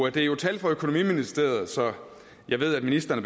er jo tal fra økonomiministeriet så jeg ved at ministeren